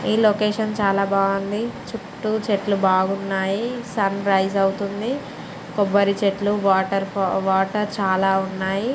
ఈ లొకేషన్ చాలా బాగుంది. చుట్టూ చెట్లు బాగున్నాయి. సన్ రైస్ అవుతుంది. కొబ్బరి చెట్లు వాటర్ ప వాటర్ చాలా ఉన్నాయి.